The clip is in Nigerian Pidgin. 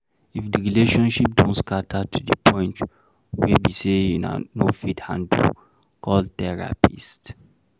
If di relationship don scatter to di point wey be sey una no fit handle, call therapist